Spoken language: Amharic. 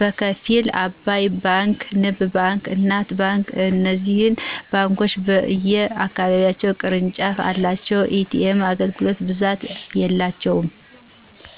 በከፊል። አባይ ባንክ; ንብ ባንክ: እናት ባንክ እነዚህ ባንኮች በየ አካባቢዎች ቅርንጫፍ የላቸውም። የኤ.ቴም አገልግሎት በብዛት የላቸውም